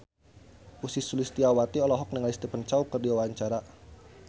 Ussy Sulistyawati olohok ningali Stephen Chow keur diwawancara